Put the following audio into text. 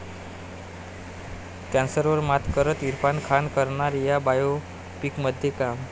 कॅन्सरवर मात करत इरफान खान करणार 'या' बायोपिकमध्ये काम